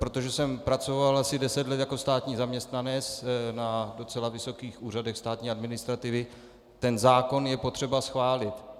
Protože jsem pracoval asi deset let jako státní zaměstnanec na docela vysokých úřadech státní administrativy, ten zákon je potřeba schválit.